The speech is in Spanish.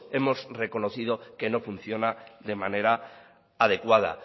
hemos reconocido que no funciona de manera adecuada